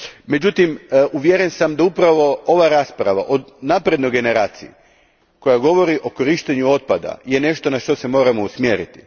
Međutim, uvjeren sam da je upravo ova rasprava o naprednoj generaciji, koja govori o korištenju otpada, nešto na što se moramo usmjeriti.